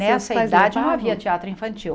Nessa idade não havia teatro infantil.